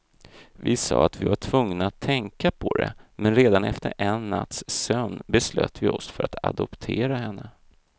Vi sa att vi var tvungna att tänka på det, men redan efter en natts sömn beslöt vi oss för att adoptera henne.